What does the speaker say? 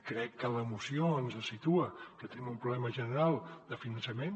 crec que la moció ens situa que tenim un problema general de finançament